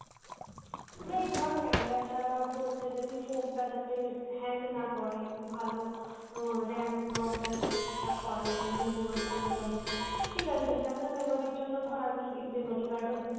এই ধর camera ছাড়া বলতে যদি phone টা যাতে hang না করে একটু ভালো RAM, ROM টা যাতে ঠিকঠাক হয়, internal memory টা মোটামটি ঠিক আছে internal memory র জন্য ধর আমি memory card ও use